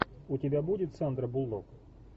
у тебя будет сандра буллок